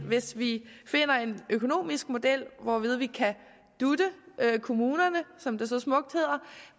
hvis vi finder en økonomisk model hvorved vi kan dute kommunerne som det så smukt hedder